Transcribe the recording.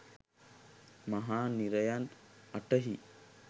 මහා නිරයන් 08 හි